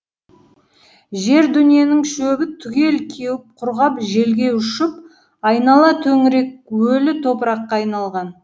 жер дүниенің шөбі түгел кеуіп құрғап желге ұшып айнала төңірек өлі топыраққа айналған